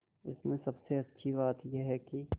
इसमें सबसे अच्छी बात यह है कि